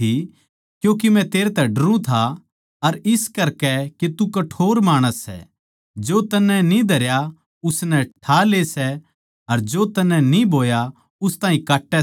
क्यूँके मै तेरै तै डरुं था इस करकै के तू कठोर माणस सै जो तन्नै न्ही धरया उसनै ठा ले सै अर जो तन्नै न्ही बोया उस ताहीं काट्टै सै